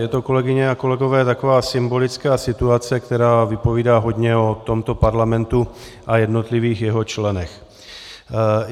Je to, kolegyně a kolegové, taková symbolická situace, která vypovídá hodně o tomto parlamentu a jednotlivých jeho členech.